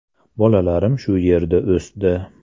Bolalarim shu yerda o‘sdi.